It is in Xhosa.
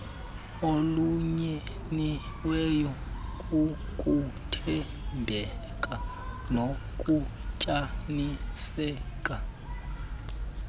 olunyiniweyo kukuthembeka nokunyaniseka